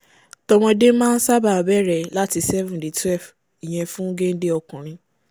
t’ọmọdé máa ń ṣábàá bẹ̀rẹ̀ láti seven dé twelve ìyen fún génde ọkùnrin